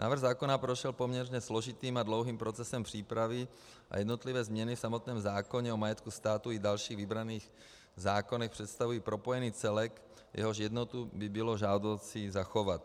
Návrh zákona prošel poměrně složitým a dlouhým procesem přípravy a jednotlivé změny v samotném zákoně o majetku státu i dalších vybraných zákonech představují propojený celek, jehož jednotu by bylo žádoucí zachovat.